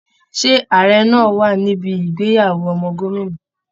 Ṣé ààrẹ náa wà níbi ìgbéyàwó ọmọ gómìnà?